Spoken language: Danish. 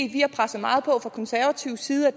vi har presset meget på fra konservativ side og